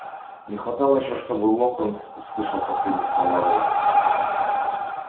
не хватало ещё чтобы локонс услышал последние слова рона